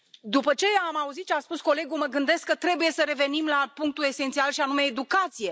După ce am auzit ce a spus colegul, mă gândesc că trebuie să revenim la punctul esențial, și anume educația.